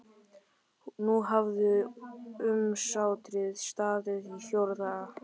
Nú hafði umsátrið staðið í fjóra daga.